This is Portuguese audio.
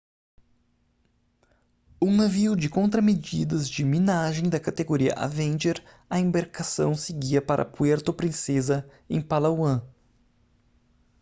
um navio de contramedidas de minagem da categoria avenger a embarcação seguia para puerto princesa em palawan